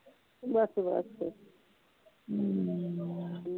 ਬਸ ਬਸ